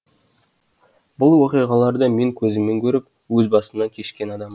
бұл оқиғаларды мен көзіммен көріп өз басымнан кешкен адаммын